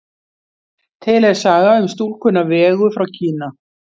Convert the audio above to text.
Til er saga um stúlkuna Vegu frá Kína.